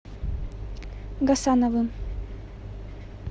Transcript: гасановым